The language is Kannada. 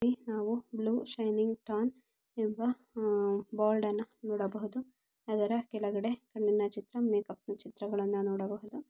ಇಲ್ಲಿ ನಾವು ಬ್ಲೂ ಶೈನಿಂಗ್ ಟನ್ ಎಂಬ ಬೋರ್ಡ್ ಅನ್ನು ನೋಡಬಹುದು ಅದರ ಕೆಳಗಡೆ ಕಣ್ಣಿನ ಚಿತ್ರ ಮೇಕ್ಅಪ್ ನ ಚಿತ್ರಗಳನ್ನು ನೋಡಬಹುದು.